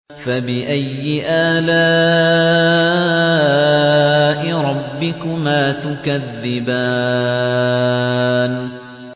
فَبِأَيِّ آلَاءِ رَبِّكُمَا تُكَذِّبَانِ